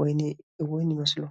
ወይኒ እውን ይመስሉ።